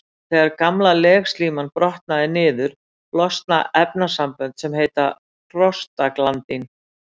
Þegar gamla legslíman brotnar niður losna efnasambönd sem heita prostaglandín.